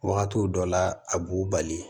Wagatiw dɔ la a b'u bali